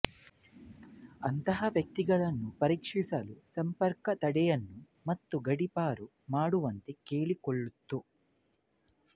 ಅಂತಹ ವ್ಯಕ್ತಿಗಳನ್ನು ಪರೀಕ್ಷಿಸಲು ಸಂಪರ್ಕ ತಡೆಯನ್ನು ಮತ್ತು ಗಡೀಪಾರು ಮಾಡುವಂತೆ ಕೇಳಿಕೊಳ್ಳುತ್ತು